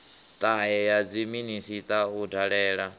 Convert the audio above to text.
ṱahe ya dziminisiṱa u dalela